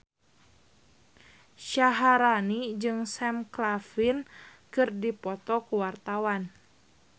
Syaharani jeung Sam Claflin keur dipoto ku wartawan